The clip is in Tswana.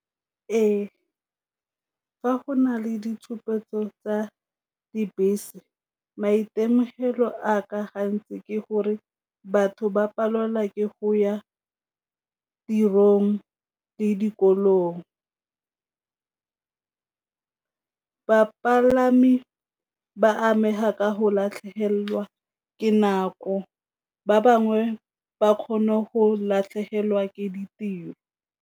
Ee, fa go na le ditshupetso tsa dibese maitemogelo a ka gantsi ke gore batho ba palelwa ke go ya tirong le dikolong. Bapalami ba amega ka go latlhegelwa ke nako, ba bangwe ba kgone go latlhegelwa ke ditiro.